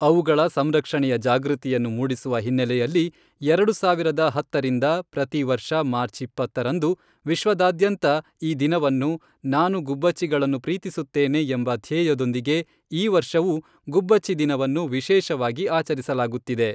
ಅವುಗಳ ಸಂರಕ್ಷಣೆಯ ಜಾಗೃತಿಯನ್ನು ಮೂಡಿಸುವ ಹಿನ್ನೆಲೆಯಲ್ಲಿ, ಎರಡು ಸಾವಿರದ ಹತ್ತರಿಂದ ಪ್ರತಿವರ್ಷ ಮಾರ್ಚ್ ಇಪ್ಪತ್ತರಂದು ವಿಶ್ವದಾದ್ಯಂತ ಈ ದಿನವನ್ನು ,ನಾನು ಗುಬ್ಬಚ್ಚಿಗಳನ್ನು ಪ್ರೀತಿಸುತ್ತೇನೆ, ಎಂಬ ಧ್ಯೇಯದೊಂದಿಗೆ ಈ ವರ್ಷವೂ ಗುಬ್ಬಚ್ಚಿ ದಿನವನ್ನು ವಿಶೇಷವಾಗಿ ಆಚರಿಸಲಾಗುತ್ತಿದೆ.